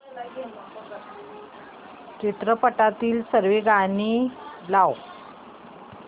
चित्रपटातील सर्व गाणी लाव